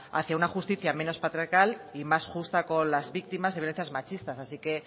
hacia una justicia menos patriarcal y más justa con las víctimas de violencias machistas así que